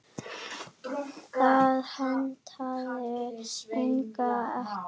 Það hentaði Inga ekki.